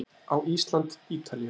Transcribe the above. Á Ísland- Ítalía